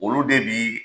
Olu de bi